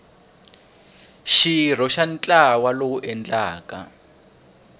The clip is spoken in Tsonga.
xirho xa ntlawa lowu endlaka